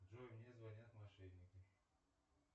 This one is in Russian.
джой мне звонят мошенники